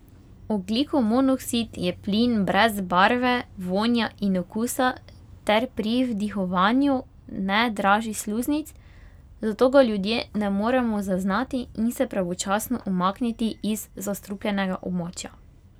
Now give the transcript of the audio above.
Ogljikov monoksid je plin brez barve, vonja in okusa ter pri vdihovanju ne draži sluznic, zato ga ljudje ne moremo zaznati in se pravočasno umakniti iz zastrupljenega območja.